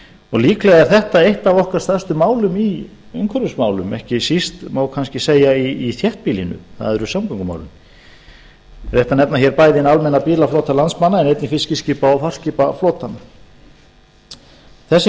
og líklega er þetta eitt af okkar stærstu málum í umhverfismálum ekki síst má kannski segja í þéttbýlinu það eru samgöngumálin rétt að nefna hér bæði hinn almenna bílaflota landsmanna en einnig fiskiskipa og farskipaflotann þessi